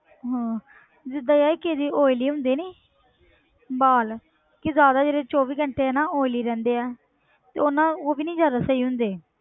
ਹਾਂ ਜਿੱਦਾਂ ਯਾਰ ਕਿਸੇ ਦੇ oily ਹੁੰਦੇ ਨੀ ਵਾਲ ਕਿ ਜ਼ਿਆਦਾ ਜਿਹੜੇ ਚੌਵੀ ਘੰਟੇ ਹਨਾ oily ਰਹਿੰਦੇ ਆ ਤੇ ਉਹ ਨਾ ਉਹ ਵੀ ਨੀ ਜ਼ਿਆਦਾ ਸਹੀ ਹੁੰਦੇ